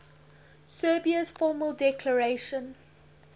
serbia's formal declaration